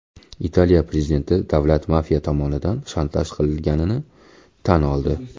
Italiya prezidenti davlat mafiya tomonidan shantaj qilinganini tan oldi.